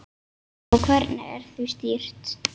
Og hvernig því er stýrt.